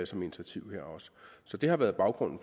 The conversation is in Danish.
som initiativ her også så det har været baggrunden